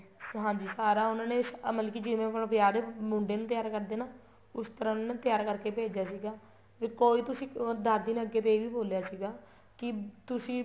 ਹਾਂਜੀ ਸਾਰਾ ਉਹਨਾ ਨੇ ਮਤਲਬ ਕੀ ਆ ਜਿਵੇਂ ਹੁਣ ਵਿਆਹ ਦੇ ਮੁੰਡੇ ਨੂੰ ਤਿਆਰ ਕਰਦੇ ਹਾਂ ਨਾ ਉਸ ਤਰ੍ਹਾਂ ਉਹਨਾ ਨੇ ਤਿਆਰ ਕਰਕੇ ਭੇਜਿਆ ਸੀਗਾ ਵੀ ਕੋਈ ਤੁਸੀਂ ਦਾਦੀ ਨੇ ਅੱਗੋ ਇਹ ਵੀ ਬੋਲਿਆ ਸੀਗਾ ਕੀ ਤੁਸੀਂ